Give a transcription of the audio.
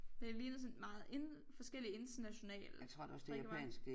Men det ligner sådan meget forskellige internationale drikkevarer